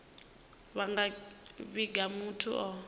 vha nga vhiga muthu o